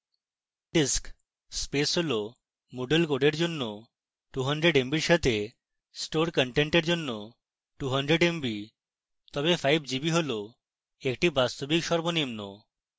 disk space: moodle code জন্য 200 mb সাথে store content জন্য 200 mb তবে 5gb একটি বাস্তবিক সর্বনিম্ন